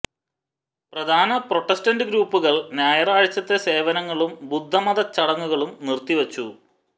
പ്രധാന പ്രൊട്ടസ്റ്റന്റ് ഗ്രൂപ്പുകൾ ഞായറാഴ്ചത്തെ സേവനങ്ങളും ബുദ്ധമത ചടങ്ങുകളും നിര്ത്തിവച്ചു